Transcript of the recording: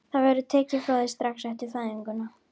Það verður tekið frá þér strax eftir fæðinguna.